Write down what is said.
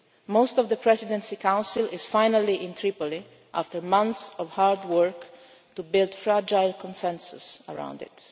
Libya. Most of the Presidency Council is finally in Tripoli after months of hard work to build a fragile consensus around